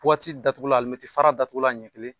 Buwati datugula alimɛti fara datugula ɲɛ kelen.